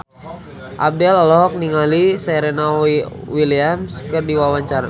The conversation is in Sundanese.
Abdel olohok ningali Serena Williams keur diwawancara